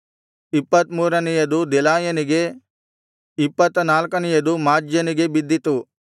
ಇಪ್ಪತ್ತ ಮೂರನೆಯದು ದೆಲಾಯನಿಗೆ ಇಪ್ಪತ್ತ ನಾಲ್ಕನೆಯದು ಮಾಜ್ಯನಿಗೆ ಬಿದ್ದಿತು